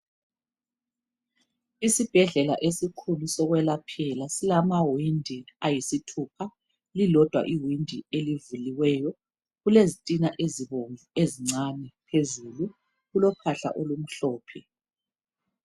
Isibhedlela esikhulu sokwelaphela, silamawindi ayisithupha. Lilodwa iwindi elivuliweyo, kulezitina ezibomvu ezincane phezulu. Kulophahla olumhlophe.